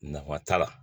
Nafa t'a la